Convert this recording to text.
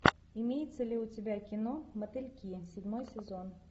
имеется ли у тебя кино мотыльки седьмой сезон